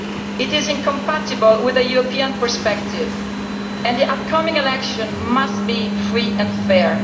It is incompatible with a European perspective, and the upcoming election must be free and fair.